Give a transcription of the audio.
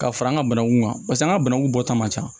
Ka fara an ka bananku kan paseke an ka bananku bɔta man ca